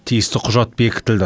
тиісті құжат бекітілді